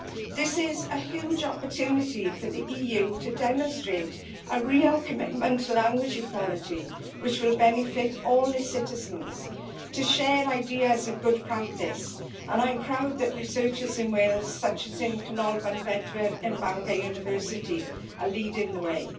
and urgently. This is a huge opportunity for the EU to demonstrate a real commitment to language equality which will benefit all its citizens, to share ideas and good practice, and I am proud that researchers in Wales, such as in Canolfan Bedwyr at Bangor University, are leading